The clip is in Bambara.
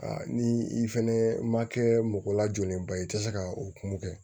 ni i fɛnɛ ma kɛ mɔgɔ lajɔlenba ye i te se ka o kun kɛ